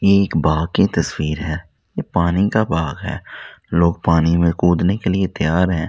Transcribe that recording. ये एक बाग की तस्वीर है ये पानी का बाग है लोग पानी में कूदने के लिए तैयार हैं।